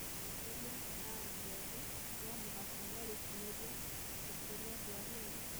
Atongoria a andũ ethĩ no mũhaka merutanĩrie gukũria andu arĩa ethĩ.